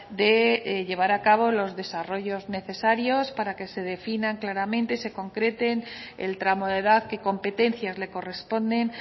de llevar a cabo los desarrollos necesarios para que se definan claramente se concreten el tramo de edad qué competencias le corresponden